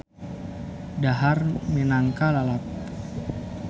Dahar minangka lalap.